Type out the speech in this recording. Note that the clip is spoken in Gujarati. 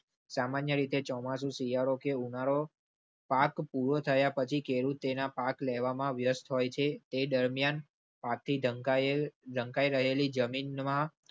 સામાન્ય રીતે ચોમાસુ શિયાળો કે ઉનાળો પાક પૂરો થયા પછી ખેડૂતોના પાક લેવામાં વ્યસ્ત હોય છે તે દરમિયાન. ઢંકાઈ રહેલી જમીનમાં.